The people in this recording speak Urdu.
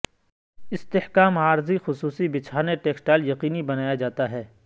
استحکام عارضی خصوصی بچھانے ٹیکسٹائل یقینی بنایا جاتا ہے